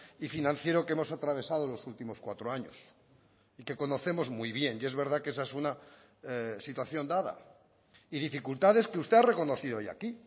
y financiero que hemos atravesado en los últimos cuatro años y que conocemos muy bien y es verdad que esa es una situación dada y dificultades que usted ha reconocido hoy aquí